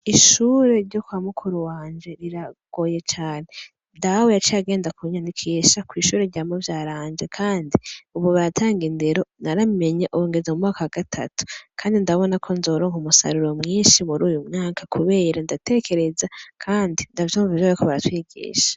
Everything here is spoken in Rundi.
Ishuri ryo kwa mukuru wanje riragoye cane Dawe yaciye agenda kunyandikisha kw'ishuri rya mu vyara wanje kandi baratanga indero naramenye ubu ngeze mu mwaka wa gatatu kandi ndabona ko nzoronka umusaruro mwishi muruyu mwaka kubera ndatekereza kandi ndavyumva ivyo bariko baratwigisha.